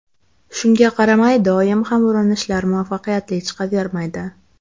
Shunga qaramay, doim ham urinishlar muvaffaqiyatli chiqavermaydi.